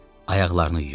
Ayaqlarını yuyun.